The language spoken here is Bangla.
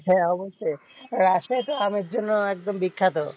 হ্যাঁ অবশ্য়ই, রাজশাহী তো আমের জন্য একদম বিখ্যাত।